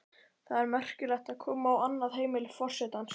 Það er merkilegt að koma á annað heimili forsetans.